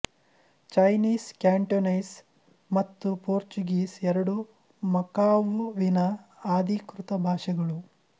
Chinese Cantonese ಮತ್ತು Portuguese ಎರಡೂ ಮಕಾವುವಿನ ಆಧಿಕೃತ ಭಾಷೆಗಳು